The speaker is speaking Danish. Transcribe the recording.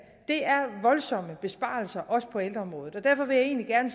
voldsomme besparelser også på ældreområdet og derfor vil jeg egentlig gerne